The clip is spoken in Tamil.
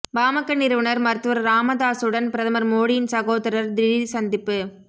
பாமக நிறுவனர் மருத்துவர் ராமதாசுடன் பிரதமர் மோடியின் சகோதரர் திடீர் சந்திப்பு